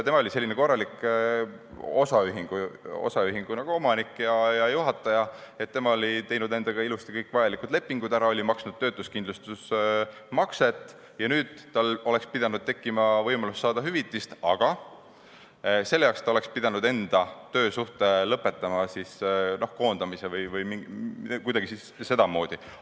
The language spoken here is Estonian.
Tema oli selline korralik osaühingu omanik ja juhataja, nii et ta oli teinud ilusti endaga kõik vajalikud lepingud ära, oli maksnud ka töötuskindlustusmakset ja nüüd oleks tal pidanud tekkima võimalus saada hüvitist, aga selleks oleks ta pidanud enda töösuhte lõpetama kas koondamisega või kuidagi sedamoodi.